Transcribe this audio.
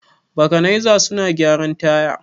Bakanaiza suna gyaran taya.